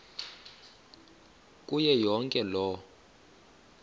kuyo yonke loo